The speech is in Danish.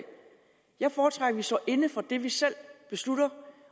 jeg foretrækker vi står inde for det vi selv beslutter